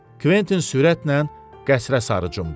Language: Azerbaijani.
Kventin sürətlə qəsrə sarı cumdu.